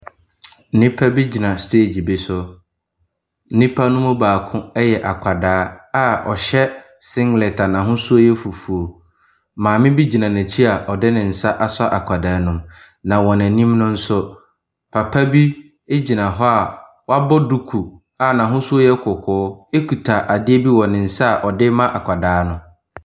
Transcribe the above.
Nipa bi gyina stage bi so. Nipa no baako yɛ akwadaa a ɔhyɛ singlet a n'ahosuo yɛ fufuo. Maame bi gyina nɛkyi a ɔde nensa asɔ akwadaa no mu. Na wɔ nenim nso papa bi gyina hɔ a wabɔ duku a n'ahosuo yɛ kɔkɔɔ ekuta adeɛ bi wɔ nensa a ɔde ma akwadaa no.